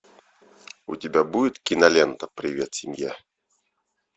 у тебя будет кинолента привет семья